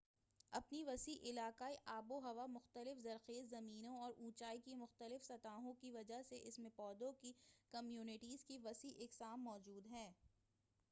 اپنی وسیع علاقائی آب و ہوا مختلف زرخیز زمینوں اور اونچائی کی مختلف سطحوں کی وجہ سے اس میں پودوں کی کمیونٹیز کی وسیع اقسام موجود ہیں